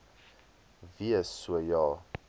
wees so ja